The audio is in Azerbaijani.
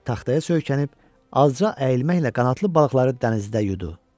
Taxtaya söykənib azca əyilməklə qanadlı balıqları dənizdə yudu.